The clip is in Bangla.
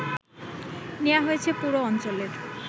নেয়া হয়েছে পুরো অঞ্চলের